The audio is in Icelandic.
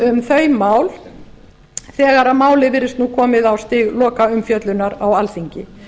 um þau mál þegar málið virðist komið á stig lokaumfjöllunar á alþingi